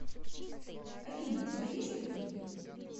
афина у тебя есть любимый